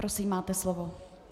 Prosím, máte slovo.